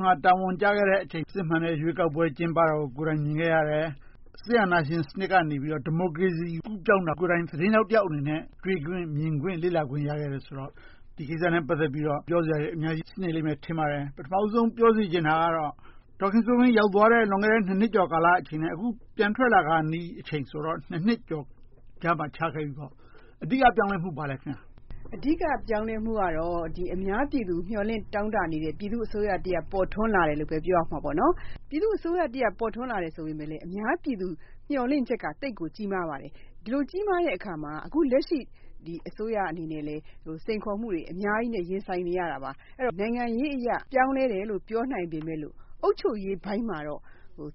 မှာ တာဝန်ကျခဲ့တဲ့ အချိန်မှာ စစ်မှန်တဲ့ ရွေးကောက်ပွဲ ကျင်းပတာကို ကိုယ်တိုင်မြင်ခဲ့ရတယ်။ စစ်အာဏာရှင်စနစ်ကနေ ဒီမိုကရေစီ ကူးပြောင်းတာ ကိုယ်တိုင်သတင်းထောက်အနေနဲ့ သိခွင့်မြင်ခွင့် ရခဲ့တယ်ဆိုတော့ ဒီကိစ္စနဲ့ ပတ်သက်လို့ ပြောစရာတွေ အများကြီးရှိတယ်လို့ ထင်ပါတယ်။ ပထမဦးဆုံး ပြောစေချင်တာကတော့ ဒေါ်ခင်စိုးဝင်း ရောက်သွားတဲ့ လွန်ခဲ့တဲ့ နှစ်ကျော်အချိန်နဲ့ အခု ပြန်ထွက်လာခါနီးအချိန်ဆို နှစ်ကျော် ခြားခဲ့ပြီပေါ့။ အဓိက ပြောင်းလဲမှု ဘာလဲ။ အဓိက ပြောင်းလဲမှုကတော့ အများပြည်သူ မျှော်လင့်တောင့်တနေတဲ့ ပြည်သူ့အစိုးရ ပေါ်ထွန်းလာတယ်လို့ပဲ ပြောရမှာပေါ့။ ပြည်သူ့အစိုးရ ပေါ်ထွန်းလာတယ်ဆိုပေမယ့်လဲ အများပြည်သူ မျှော်လင့်ချက်က သိပ်ကို ကြီးမားပါတယ်။ ဒီလို ကြီးမားတဲ့အခါမှာ အခု လက်ရှိ အစိုးရအနေနဲ့လဲ စိန်ခေါ်မှုတွေ အများကြီးနဲ့ ရင်ဆိုင်နေရတာပါ။ နိုင်ငံရေးအရ ပြောင်းလဲတယ်လို့ ပြောနိုင်ပေမယ့် အုပ်ချုပ်ရေးပိုင်းမှာတော့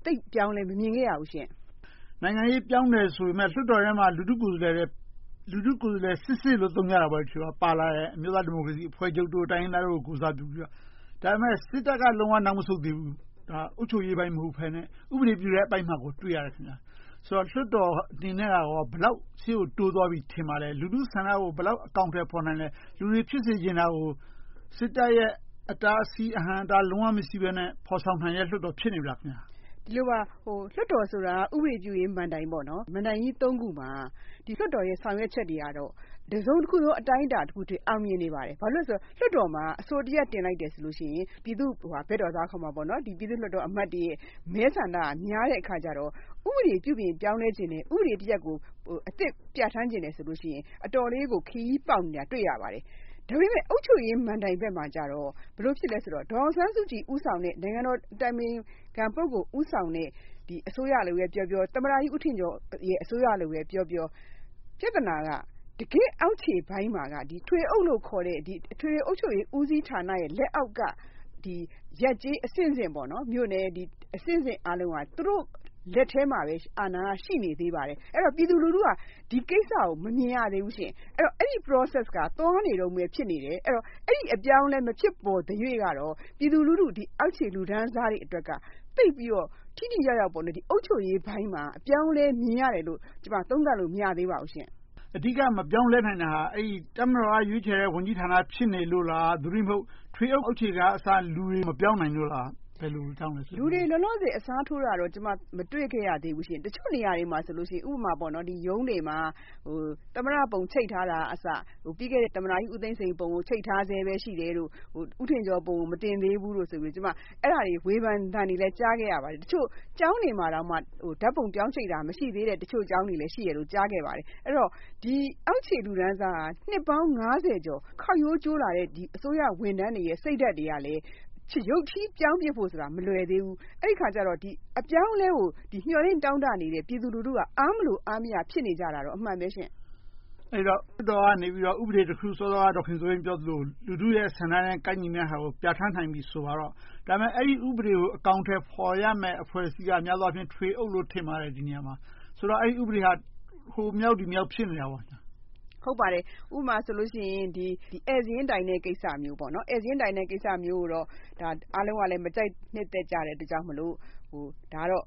သိပ်အပြောင်းအလဲ မမြင်ခဲ့ရဘူးရှင့်။ နိုင်ငံရေး ပြောင်းတယ်ဆိုပေမယ့် လွှတ်တော်ထဲမှာ လူထုကိုယ်စားလှယ်စစ်စစ် သုံးကြတာပေါ့ - ပါလာတဲ့ အမျိုးသားဒီမိုကရေစီအဖွဲ့ချုပ်၊ တိုင်းရင်းသားတို့ ကိုယ်စားပြုပြီးတော့။ ဒါပေမဲ့ စစ်တပ်က လုံးဝနောက်မဆုတ်သေးဘူး။ အုပ်ချုပ်ရေး မဟုတ်ဘဲနဲ့၊ ဥပဒေပြုတဲ့အပိုင်းမှာ တွေ့ရတယ်။ ဆိုတော့ လွှတ်တော်အနေနဲ့ ဘယ်လောက် ရှေ့ကို တိုးသွားပြီ ထင်ပါလဲ။ လူထုဆန္ဒကို ဘယ်လောက် အကောင်အထည် ဖော်နိုင်လဲ။ လူတွေ ဖြစ်စေချင်တာကို စစ်တပ်ရဲ့ အတားအဆီး၊ အဟန့်အတား၊ လုံးဝမရှိဘဲနဲ့ ဖော်ဆောင်နိုင်တဲ့ လွှတ်တော် ဖြစ်နေပြီလား။ ဒီလိုပါ… လွှတ်တော်ဆိုတာ ဥပဒေပြုရေးမဏ္ဍိုင်ပါ။ မဏ္ဍိုင်ကြီး ရပ်မှာ လွှတ်တော်ရဲ့ ဆောင်ရွက်ချက်တွေကတော့ တစုံတခုသော အတိုင်းအတာအထိ အောင်မြင်နေပါတယ်။ ဘာဖြစ်လို့လဲဆိုတော့ လွှတ်တော်မှာ အဆိုတရပ်တင်လိုက်တယ်ဆိုရင် ပြည်သူ့ဘက်တော်သားခေါ်တဲ့ ပြည်သူ့လွှတ်တော်အမတ်တွေရဲ့ မဲဆန္ဒက များတဲ့အခါကြတော့ ဥပဒေ ပြုပြင်ပြောင်းလဲချင်တဲ့ ဥပဒေတရပ်ကို အသစ် ပြဌာန်းချင်တယ်ဆိုရင် အတော်လေးကို ခရီးပေါက်နေတာကို တွေ့ရတယ်။ ဒါပေမဲ့ အုပ်ချုပ်ရေးမဏ္ဍိုင်ဘက်မှာကြတော့ ဘယ်လို ဖြစ်သလဲဆိုတော့ ဒေါ်အောင်ဆန်းစုကြည် ဦးဆောင်တဲ့ နိုင်ငံတော်အတိုင်ပင်ခံပုဂ္ဂိုလ် ဦးဆောင်တဲ့ အစိုးရလို့ပဲပြောပြော၊ သမ္မတကြီးဦးထင်ကျော် အစိုးရလို့ပဲပြောပြော ပြဿနာက တကယ့်အောက်ခြေပိုင်းမှာက ထွေအုပ်လို့ခေါ်တဲ့ အထွေထွေအုပ်ချုပ်ရေး ဦးစီးဌာနလက်အောက်က ရပ်ကျေးအဆင့်ဆင့်၊ မြို့နယ်အဆင့်ဆင့် အားလုံးက သူတို့ လက်ထဲမှာပဲ အာဏာက ရှိနေပါသေးတယ်။ အဲဒီတော့ ပြည်သူလူထုက ဒီကိစ္စကို မမြင်ရသေးဘူး။ အဲဒီ Process က သွားနေတုန်းပဲ ရှိနေသေးတယ်။ အဲဒီ အပြောင်းအလဲ မဖြစ်ပေါ်သေးသ၍တော့ ပြည်သူလူထု၊ အောက်ခြေလူတန်းစားတွေအတွက်က သိပ်ပြီးတော့ ထိထိရောက်ရောက် အုပ်ချုပ်ရေးပိုင်းမှာ အပြောင်းအလဲ မြင်ရတယ်လို့ ကျမ သုံးသပ်လို့ မရသေးပါဘူး။ အဓိက မပြောင်းလဲနိုင်သေးတာ တပ်မတော်က ရွေးချယ်တဲ့ ဝန်ကြီးဌာန ဖြစ်နေလို့လား။ သို့တည်းမဟုတ် ထွေအုပ်အောက်ခြေကအစ လူတွေ မပြောင်းနိုင်လို့လား။ ဘယ်လိုကြောင့်လဲ။ လူတွေ လောလောဆယ် အစားထိုးတာတော့ ကျမ မတွေ့ခဲ့ရသေးဘူး။ တချို့နေရာတွေမှာဆို ဥပမာ ရုံးတွေမှာ သမ္မတပုံ ချိတ်ထားတာကအစ ပြီးခဲ့တဲ့ သမ္မတကြီးဦးသိန်းစိန်ပုံ ချိတ်ထားလျှက် ရှိတယ်လို့ ဦးထင်ကျော် ပုံကို မတင်သေးဘူးလို့ အဲဒီ ဝေဖန်သံတွေကို ကြားခဲ့ရတယ်။ တချို့ကျောင်းတွေမှာတောင် ဓါတ်ပုံပြောင်းချိတ်တာ မရှိသေးတဲ့ ကျောင်းတွေလည်း ရှိတယ်လို့ ကြားသိရပါတယ်။ အဲဒီတော့ အောက်ခြေလူတန်းစားက နှစ်ပေါင်း ကျော် ခေါက်ရိုးကျိုးလာတဲ့ အစိုးရဝန်ထမ်းတွေရဲ့ စိတ်ဓါတ်တွေကလည်း ရုတ်ချည်းပြောင်းဖို့ဆိုတာ မလွယ်သေးဘူး။ အဲဒီအခါကြတော့ အပြောင်းအလဲကို မျှော်လင့်တောင့်တနေတဲ့ ပြည်သူလူထုက အားမလိုအားမရ ဖြစ်နေကြတာတော့ အမှန်ပဲ။ အဲဒီတော့ လွှတ်တော်ကနေ ဥပဒေတခု စောစောက ဒေါ်ခင်စိုးဝင်း ပြောသလို လူထုရဲ့ ဆန္ဒနဲ့ ကိုက်ညီမယ့်ဟာကို ပြဌာန်းနိုင်ပြီ ဆိုပါစို့။ ဒါပေမဲ့ အဲဒီဥပဒေကို အကောင်အထည်ဖော်ရမယ့် အဖွဲ့အစည်းက များသောအားဖြင့် ဒီနေရာမှာ ထွေအုပ်လို့ ထင်ပါတယ်။ ဆိုတော့ အဲဒီ ဥပဒေဟာ ဟိုမရောက်ဒီမရောက် ဖြစ်နေတာပေါ့။ ဟုတ်ပါတယ်။ ဥပမာဆိုလို့ရှိရင် ဧည့်စာရင်းတိုင်းတဲ့ကိစ္စမျိုးကိုတော့ အားလုံးက မကြိုက်နှစ်သက်တဲ့ အတွက်ကြောင့်မို့ ဒါကတော့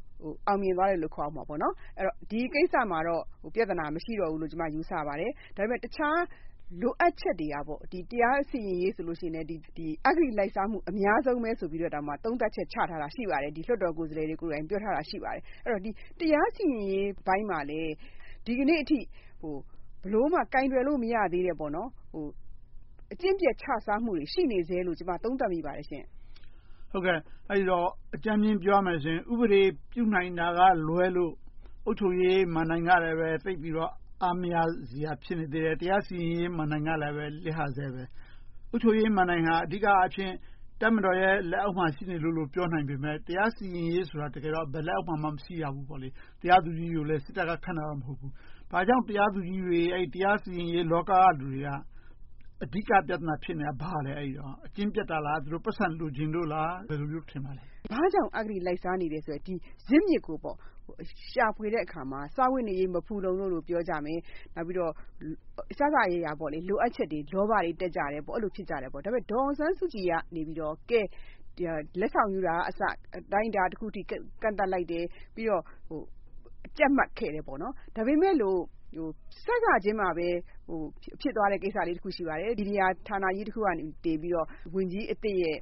အောင်မြင်သွားတယ်လို့ ခေါ်ရမှာပေါ့။ ဒီကိစ္စမှာတော့ ပြဿနာ မရှိတော့ဘူးလို့ ယူဆပါတယ်။ ဒါပေမဲ့ တခြားလိုအပ်ချက်တွေကတော့ တရားစီရင်ရေးဆိုရင်လဲ အဂတိလိုက်စားမှု အများဆုံးလို့ သုံးသပ်ချက် ချထားတာ ရှိပါတယ်။ လွှတ်တော်ကိုယ်စားလှယ်တွေကိုယ်တိုင် ပြောထားတာ ရှိပါတယ်။ တရားစီရင်ရေးပိုင်းမှာလဲ ဒီကနေ့အထိ ဘယ်လိုမှ ကိုင်တွယ်လို့ မရသေးတဲ့ အကျင့်ပျက် ခြစားမှုတွေ ရှိနေသေးတယ်လို့ ကျမ သုံးသပ်မိပါတယ်ရှင့်။ အဲဒီတော့ အကြမ်းမျဉ်း ပြောရမယ်ဆိုရင် ဥပဒေ ပြုနိုင်တာကလွဲလို့ အုပ်ချုပ်ရေးမဏ္ဍိုင်ကလဲ သိပ်ပြီးတော့ အားမရစရာ ဖြစ်နေသေးတယ်။ တရားစီရင်ရေးမဏ္ဍိုင်ကလဲ လစ်ဟနေသေးတယ်။ အုပ်ချုပ်ရေးမဏ္ဍိုင်ဟာ အဓိကအားဖြင့် တပ်မတော်ရဲ့ လက်အောက်မှာ ရှိနေသေးတယ်လို့ ပြောနိုင်ပေမယ့်၊ တရားစီရင်ရေးဆိုတာက တကယ်တော့ ဘယ်လက်အောက်မှာမှ မရှိရဘူးပေါ့။ တရားသူကြီးကိုလဲ တကယ်တော့ စစ်တပ်က ခန့်တာမဟုတ်ဘူး။ ဘာကြောင့် တရားသူကြီးတွေ၊ တရားစီရင်ရေးလောက က လူတွေက အဓိက ပြဿနာ ဖြစ်နေတာ ဘာလဲ။ အကျင့်ပျက်တာလား။ ပိုက်ဆံလိုချင်လို့လား။ ဘယ်လိုလို့ ထင်ပါလဲ။ ဘာကြောင့် အဂတိလိုက်စားနေလဲဆိုတဲ့ ဇစ်မြစ်ကို ရှာဖွေတဲ့အခါမှာ စားဝတ်နေရေး မဖူလုံလို့ ပြောကြမယ်။ နောက်ပြီးတော့ အစစအရာရာ လိုအပ်ချက်တွေ လောဘတွေ တက်ကြတယ်။ အဲဒီလို ဖြစ်ကြတယ်။ ဒါပေမဲ့ ဒေါ်အောင်ဆန်းစုကြည်ကနေ ကဲ လက်ဆောင် ယူတာကအစ အတိုင်းအတာတခုအထိ ကန့်သတ်လိုက်တယ်။ ပြီးတော့ ကြပ်မတ်ခဲ့တယ်။ ဒါပေမဲ့လို့ စစချင်းမှာပဲ ဖြစ်သွားတဲ့ကိစ္စကြီးတခု ရှိပါတယ်။ မီဒီယာဌာနကြီးတခုကနေ ဝန်ကြီးအသစ်ရဲ့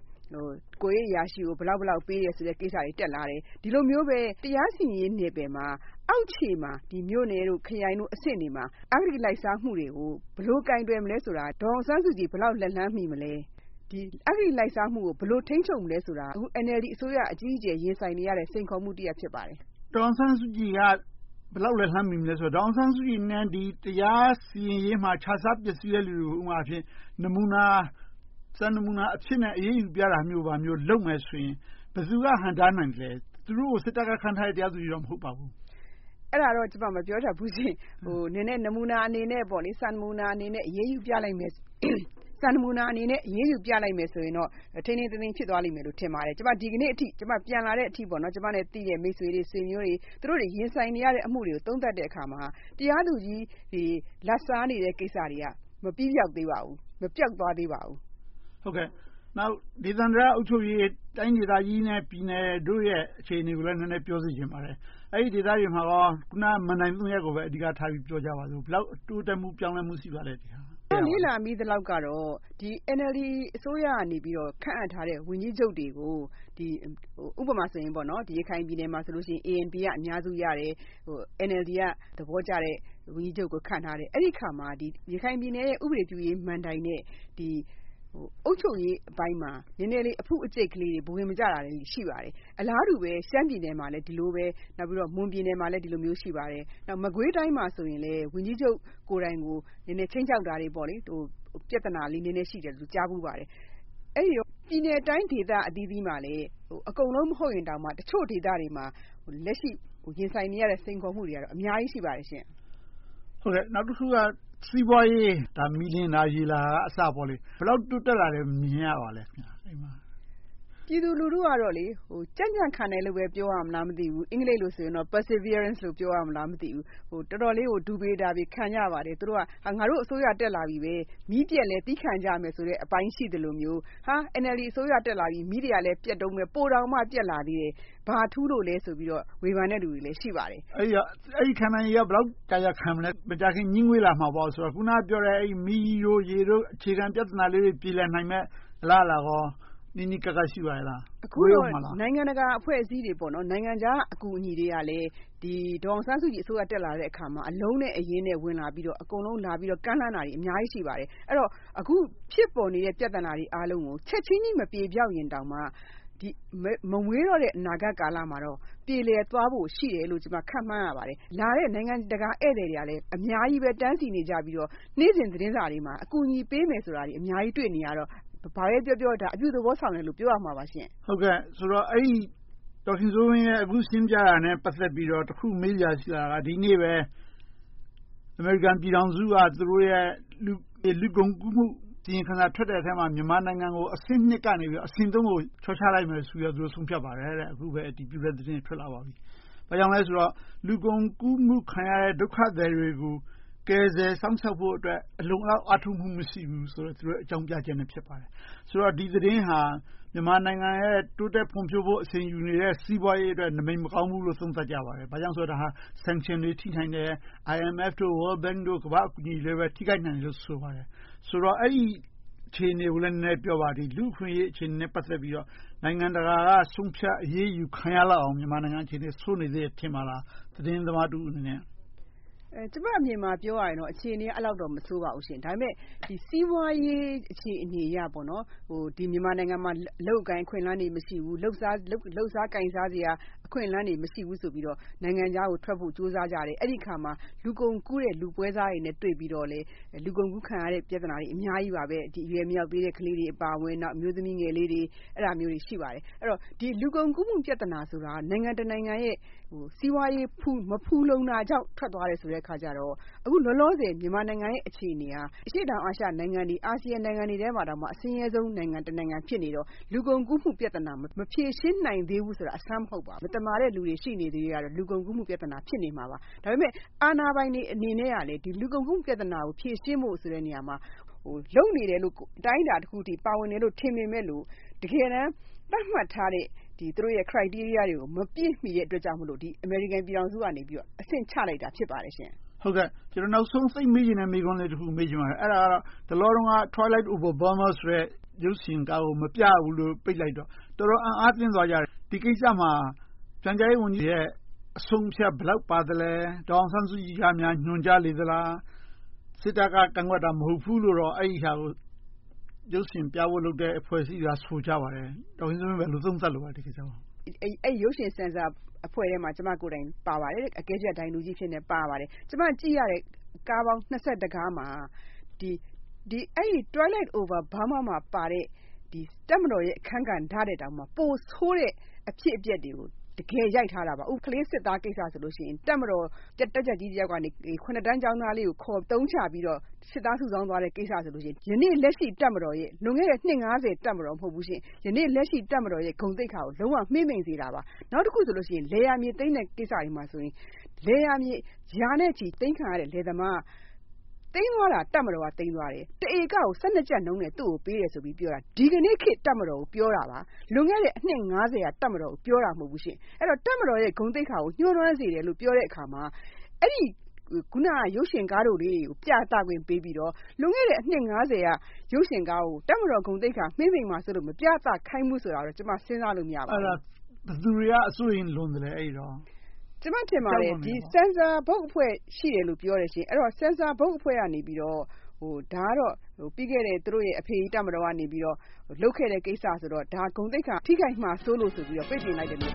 ကိုယ်ရေးအရာရှိကို ဘယ်လောက်ဘယ်လောက် ပေးတဲ့ဆိုတဲ့ကိစ္စ တက်လာတယ်။ ဒီလိုမျိုးပဲ တရားစီရင်ရေး နယ်ပယ်မှာ အောက်ခြေမှာ မြို့နယ်၊ ခရိုင်အဆင့်တွေမှာ အဂတိ လိုက်စားမှုတွေကို ဘယ်လို ကိုင်တွယ်မလဲဆိုတာ ဒေါ်အောင်ဆန်းစုကြည် ဘယ်လောက် လက်လှမ်းမီမလဲ။ အဂတိ လိုက်စားမှုကို ဘယ်လို ထိန်းချုပ်မလဲဆိုတာ အခု NLD အစိုးရ အကြီးအကျယ် ရင်ဆိုင်နေရတဲ့ စိန်ခေါ်မှုတရပ် ဖြစ်ပါတယ်။ ဒေါ်အောင်ဆန်းစုကြည်က ဘယ်လောက် လက်လှမ်းမီမလဲဆိုတော့ ဒေါ်အောင်ဆန်းစုကြည်နဲ့ တရားစီရင်ရေးမှာ ခြစားပျက်ဆီးတဲ့ လူတွေကို ဥပမာအားဖြင့် စံနမူနာအဖြစ်နဲ့ အရေးယူပြတာမျိုး လုပ်မယ်ဆိုရင် ဘယ်သူက ဟန့်တားနိုင်မလဲ။ သူတို့ကို စစ်တပ်က ခန့်ထားတဲ့ တရားသူကြီး မဟုတ်ပါဘူး။ အဲဒါတော့ ကျမ မပြောတတ်ဘူးရှင့်။ နည်းနည်း နမူနာအနေနဲ့ စံနမူနာအနေနဲ့ အရေးယူပြလိုက်မယ် ဆိုရင်တော့ ထိန်းထိန်းသိမ်းသိမ်း ဖြစ်သွားမယ်လို့ ထင်ပါတယ်။ ဒီနေ့အထိ ကျမ ပြန်လာတဲ့အချိန်အထိ ကျမနဲ့ သိတဲ့ မိတ်ဆွေတွေ၊ ဆွေမျိုးတွေ သူတို့ ရင်ဆိုင်နေရတဲ့ အမှုတွေကို သုံးသပ်တဲ့အခါမှာ တရားသူကြီးတွေ လာဘ်စားနေတဲ့ကိစ္စတွေက မပြီးပျောက်သေးပါဘူး။ မပျောက်သွားသေးပါဘူး။ ဒေသန္တရ အုပ်ချုပ်ရေး၊ တိုင်းဒေသကြီးနဲ့ ပြည်နယ်တို့ရဲ့ အခြေအနေကိုလည်း နည်းနည်းပြောစေချင်ပါတယ်။ အဲဒီ ဒေသတွေမှာကော အခုန မဏ္ဍိုင် ရပ်ကိုပဲ အဓိကထား ပြောကြပါစို့။ ဘယ်လောက် တိုးတက်မှု၊ ပြောင်းလဲမှု ရှိပါလဲ။ ကျမ လေ့လာမိသလောက်တော့ NLD အစိုးရကနေ ခန့်အပ်ထားတဲ့ ဝန်ကြီးချုပ်တွေကို ဥပမာ ရခိုင်ပြည်နယ်မှာဆိုရင် ANP က အများစုရတယ်။ NLD က သဘောကျတဲ့ ဝန်ကြီးချုပ်ကို ခန့်ထားတယ်။ အဲဒီအခါမှာ ရခိုင်ပြည်နယ်ရဲ့ ဥပဒေပြုရေးမဏ္ဍိုင် နဲ့ အုပ်ချုပ်ရေးအပိုင်းမှာ နည်းနည်းလေး အဖုအကျိတ်လေးတွေ ဘဝင်မကျတာတွေ ရှိပါတယ်။ အလားတူပဲ ရှမ်းပြည်နယ်မှာလည်း ဒီလိုပဲ။ မွန်ပြည်နယ်မှာလည်း ဒီလိုမျိုး ရှိပါတယ်။ နောက် မကွေးတိုင်းမှာဆိုရင်လည်း ဝန်ကြီးချုပ်ကိုယ်တိုင်ကို နည်းနည်းခြိမ်းခြောက်တာတွေ၊ ပြဿနာလေးတွေ ရှိတယ်လို့ ကြားဖူးပါတယ်။ အဲဒီလို ပြည်နယ်တိုင်း ဒေသအသီးသီးမှာလည်း အကုန်လုံး မဟုတ်ရင်တောင်၊ တချို့ဒေသတွေမှာ လက်ရှိ ရင်ဆိုင်နေရတဲ့ စိန်ခေါ်မှုတွေက အများကြီး ရှိပါတယ်။ နောက်တခုက စီးပွားရေး ဘယ်လောက် တိုးတက်လာတယ်လို့ မြင်ရပါလဲ။ ပြည်သူလူထုကတော့ ကြံ့ကြံ့ခံတယ်လို့ပဲ ပြောရမလား မသိဘူး… အင်္ဂလိပ်လို့တော့ Perseverance ပြောရမလား မသိဘူး။ တော်တော်လေးကို ဒူပေနာပေ ခံကြပါတယ်။ သူတို့က ငါတို့ အစိုးရ တက်လာပြီ… မီးပျက်လည်း သည်းခံကြမယ်အပိုင်း ရှိသလိုမျိုး၊ NLD အစိုးရ တက်လာပြီ မီးတွေကလဲ ပျက်တုန်းပဲ… ပိုတောင်မှ ပျက်လာသေးတယ်… ဘာထူးလို့လဲလို့ ဝေဖန်တဲ့ သူတွေလည်း ရှိပါတယ်။ အဲဒီ ခံနိုင်ရေးက ဘယ်လောက် ကြာကြာခံမလဲ။ မကြာခင် ငြီးငွေ့လာမှာပေါ့။ အခုနပြောတဲ့ မီး၊ ရေ အခြေခံလေးတွေ ပြေလည်နိုင်မယ့် အလားအလာကော နီးနီးကပ်ကပ် ရှိပါရဲ့လား။ နိုင်ငံတကာ အဖွဲ့အစည်းတွေ၊ နိုင်ငံခြား အကူအညီတွေကလည်း ဒေါ်အောင်ဆန်းစုကြည် အစိုးရ တက်လာတဲ့အခါမှာ အလုံးနဲ့အရင်းနဲ့ ဝင်လာပြီးတော့ ကမ်းလှမ်းတာတွေ အများကြီး ရှိပါတယ်။ အဲဒီတော့ အခု ဖြစ်ပေါ်နေတဲ့ ပြဿနာတွေအားလုံးကို ချက်ချင်းကြီး မပြေပျောက်ရင်တောင်မှ မဝေးတော့တဲ့ အနာဂတ်ကာလမှာ ပြေလည်သွားဖို့ ရှိတယ်လို့ ကျမ ခန့်မှန်းပါတယ်။ နိုင်ငံတကာ ဧည့်သည်တွေကလည်း အများကြီး တန်းစီးနေတော့ နေ့စဉ်သတင်းစာတွေမှာ ကူညီပေးမယ်ဆိုတာတွေ အများကြီး တွေ့နေရတော့ ဘာပဲပြောပြော အပြုသဘောဆောင်တယ်လို့ ပြောရမှာပါ။ အခု ဒေါ်ခင်စိုးဝင်း အခု ရှင်းပြတာနဲ့ ပတ်သက်ပြီးတော့ တခု မေးစရာ ရှိတာက ယနေ့ပဲ အမေရိကန်ပြည်ထောင်စုက သူတို့ရဲ့ လူကုန်ကူးမှု အစီရင်ခံစာ ထွက်တဲ့ထဲမှာ မြန်မာနိုင်ငံကို အဆင့် ကနေ အဆင့် ကို လျှော့ချလိုက်မယ်ဆိုပြီး ဆုံးဖြတ်ပါတယ်။ အခုပဲ အတည်ပြုတဲ့သတင်း ထွက်လာပါပြီ။ ဘာကြောင့်လဲဆိုတော့ လူကုန်ကူးမှု ခံရတဲ့ ဒုက္ခသည်တွေကို ကယ်ဆယ်စောင့်ရှောက်ဖို့အတွက် အလုံအလောက် အားထုတ်မှု မရှိဘူးဆိုတဲ့ အကြောင်းပြချက်နဲ့ ဖြစ်ပါတယ်။ ဆိုတော့ ဒီသတင်းဟာ မြန်မာနိုင်ငံရဲ့ တိုးတက်ဖွံ့ဖြိုးဖို့ အရှိန်ယူနေတဲ့ စီးပွားရေးအတွက် နမိတ်မကောင်းဘူးလို့ သုံးသပ်ကြပါတယ်။ ဘာဖြစ်လို့လဲဆိုတော့ Sanction တွေ ထိနိုင်တယ်။ IMF, World Bank တို့ ကမ္ဘာ့အကူအညီတွေကို ထိခိုက်နိုင်တယ်လို့ ဆိုပါတယ်။ ဆိုတော့ အဲဒီအခြေအနေကို နည်းနည်းပြောပါ။ လူ့အခွင့်အရေး အခြေအနေနဲ့ ပတ်သက်ပြီးတော့ နိုင်ငံတကာက ဆုံးဖြတ်အရေးယူခံရလောက်အောင် မြန်မာနိုင်ငံက ဆိုးနေသေးတယ် ထင်ပါလား။ သတင်းသမားတဦးအနေနဲ့ ပြောပါ။ ကျမအမြင် ပြောရရင်တော့ အခြေအနေက အဲဒီလောက်တော့ မဆိုးပါဘူးရှင့်။ ဒါပေမဲ့ စီးပွားရေး အခြေအနေအရ မြန်မာနိုင်ငံမှာ အလုပ်အကိုင် အခွင့်အလမ်းတွေ မရှိဘူး။ လုပ်စားကိုင်စားစရာ အခွင့်အလမ်းတွေ မရှိဘူးဆိုပြီးတော့ နိုင်ငံခြားကို ထွက်ဖို့ကြိုးစားကြတယ်။ အဲဒီအခါမှာ လူကုန်ကူးတဲ့ လူပွဲစားတွေနဲ့တွေ့ပြီးတော့ လူကုန်ကူးခံရတဲ့ ပြဿနာတွေ အများကြီးပါပဲ။ အရွယ်မရောက်သေးတဲ့ ကလေးတွေ အပါအဝင်၊ အမျိုးသမီးငယ်လေးတွေ အဲဒါတွေ ရှိပါတယ်။ အဲဒီတော့ လူကုန်ကူးမှု ပြဿနာဆိုတာက နိုင်ငံတနိုင်ငံရဲ့ စီးပွားရေး မဖူလုံတာကြောင့် ထွက်သွားတာကြောင့် အခုလောလောဆယ် မြန်မာနိုင်ငံရဲ့ အခြေအနေက အရှေ့တောင်အာရှ အာဆီယံနိုင်ငံတွေထဲမှာ အဆင်းရဲဆုံးနိုင်ငံ တနိုင်ငံ ဖြစ်နေတော့ လူကုန်ကူးမှုပြဿနာ မဖြေရှင်းနိုင်သေးဘူးဆိုတာ အဆန်းမဟုတ်ပါဘူး။ မသမာတဲ့လူတွေ ရှိနေသေးသရွေ့တော့ လူကုန်ကူးမှု ပြဿနာ ဖြစ်နေမှာပါ။ ဒါပေမဲ့ အာဏာပိုင်တွေအနေနဲ့ လူကုန်ကူးမှု ပြဿနာကို ဖြေရှင်းဖို့နေရာမှာ လုပ်နေတဲ့လို့၊ အတိုင်းအတာတခု ပါဝင်နေတယ်လို့ ထင်ပေမယ့်လို့ တကယ်တမ်း သတ်မှတ်ထားတဲ့ သူတို့ရဲ့ Criteria မပြည့်မီတဲ့အတွက်ကြောင့် အမေရိကန်ပြည်ထောင်စုက အဆင့်နိမ့်ချလိုက်တာ ဖြစ်ပါတယ်။ ကျနော် နောက်ဆုံး သိပ်မေးချင်တဲ့ မေးခွန်းလေးတခုကို မေးချင်ပါတယ်။ အဲဒါက တလောက Twilight Over Burma ဆိုတဲ့ ရုပ်ရှင်ကားကို မပြရဘူးလို့ ပိတ်လိုက်တော့ တော်တော်အံ့အားသင့်သွားကြတယ်။ ဒီကိစ္စမှာ ပြန်ကြားရေးဝန်ကြီးရဲ့ အဆုံးအဖြတ် ဘယ်လောက်ပါလဲ။ ဒေါ်အောင်ဆန်းစုကြည်က ညွှန်ကြားလေသလား။ စစ်တပ်က ကန့်ကွက်တာ မဟုတ်ဘူးလို့တော့ ရုပ်ရှင်ပြဖို့လုပ်တဲ့ အဖွဲ့အစည်းတွေက ဆိုကြပါတယ်။ ဒေါ်ခင်စိုးဝင်း ဒီကိစ္စကို ဘယ်လို သုံးသပ်လိုပါလဲ။ အဲဒီ ရုပ်ရှင်ဆင်ဆာအဖွဲ့ထဲမှာ ကျမကိုယ်တိုင် ပါပါတယ်။ အကဲဖြတ်ဒိုင်လူကြီးအဖြစ် ပါပါတယ်။ ကျမ ကြည့်ရတဲ့ ကားပေါင်း ကားမှာ အဲဒီ Twilight Over Burma မှာ ပါတဲ့ တပ်မတော်ရဲ့ အခန်းကဏ္ဍထက် ပိုဆိုးတဲ့ အဖြစ်အပျက်တွေကို တကယ်ရိုက်ထားတာ။ ဥပမာ ကလေးစစ်သားကိစ္စဆိုလို့ရှိရင် တပ်မတော်တပ်ကြပ်ကြီးတယောက်ကနေ တန်းကျောင်းသားလေးကို ခေါ်အသုံးချပြီးတော့ စစ်သားစုဆောင်းသွားတဲ့ကိစ္စဆိုရင် ယနေ့လက်ရှိ တပ်မတော်ရဲ့ လွန်ခဲ့တဲ့ နှစ် က တပ်မတော် မဟုတ်ဘူး။ ယနေ့ လက်ရှိ တပ်မတော်ရဲ့ ဂုဏ်သိက္ခာကို လုံးဝမှေးမှိန်စေတာပါ။ နောက်တခုဆိုရင် လယ်ယာမြေ သိမ်းတဲ့ကိစ္စမှာဆိုရင် လယ်ယာမြေ ရာနဲ့ချီ သိမ်းခံရတဲ့ လယ်သမား။ သိမ်းသွားတာက တပ်မတော်က သိမ်းသွားပါတယ်။ တစ်ဧကကို ကျပ်နှုန်းနဲ့ ပေးတယ်ဆိုပြီး ဒီကနေ့ တပ်မတော်ကို ပြောတာပါ။ လွန်ခဲ့တဲ့ အနှစ် က တပ်မတော်ကို ပြောတာမဟုတ်ဘူး။ အဲဒီတော့ တပ်မတော်ရဲ့ ဂုဏ်သိက္ခာကို ညှိုးနွမ်းစေတယ်လို့ ပြောတဲ့အခါမှာ အဲဒီ ရုပ်ရှင်ကားတွေကို ပြသခွင့်ပေးပြီးတော့ လွန်ခဲ့တဲ့ အနှစ် က ရုပ်ရှင်ကားကို တပ်မတော် ဂုဏ်သိက္ခာ မှေးမှိန်မှာဆိုလို့ မပြသခိုင်းဘူးဆိုတာတော့ ကျမ စဉ်းစားလို့ မရဘူး။ အဲဒါ ဘယ်သူတွေက အစိုးရိမ်လွန်သလဲ။ ကျမထင်တာ ဆင်ဆာဘုတ်အဖွဲ့ ရှိတယ်လို့ ပြောလို့ရှိရင် ဆင်ဆာဘုတ်အဖွဲ့ကနေ ဒါကတော့ ပြီးခဲ့တဲ့ သူတို့ရဲ့ အဖေကြီးတပ်မတော်ကနေ လုပ်ခဲ့တဲ့ကိစ္စဆိုတော့ ဒါ ဂုဏ်သိက္ခာ ထိခိုက်မှာစိုးလို့ဆိုပြီး ပိတ်ပင်လိုက်တယ်လို့